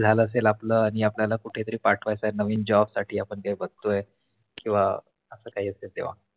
झाल असेल आपल आणि आपल्याला कुठे तरी पाठवायच आहे नवीन Job साठी आपण ते बघतो आहे किवा अस काही असेल तेव्हा असं काही असेल तेव्हा